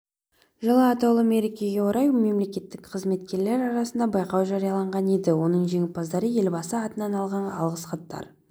жылы атаулы мерекеге орай мемлекеттік қызметкерлер арасында байқау жарияланған еді оның жеңімпаздары елбасы атынан алғыс хаттар